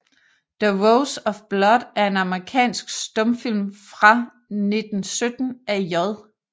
The Rose of Blood er en amerikansk stumfilm fra 1917 af J